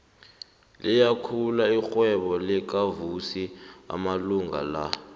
liyakhula irhwebo lakavusi amalanga la